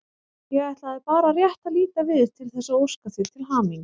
Ég ætlaði bara rétt að líta við til þess að óska þér til hamingju.